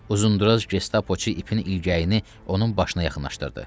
Uzundura Gestapoçu ipin ilgəyini onun başına yaxınlaşdırdı.